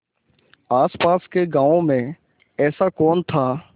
आसपास के गाँवों में ऐसा कौन था